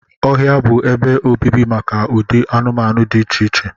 Ọhịa bụ ebe obibi maka ụdị anụmanụ dị iche iche